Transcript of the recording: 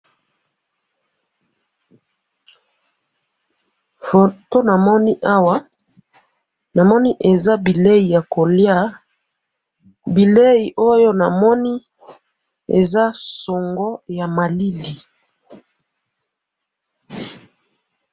Foto namoni awa namoni eza bileyi ya koliya ,bileyi oyo namoni eza songo ya malili.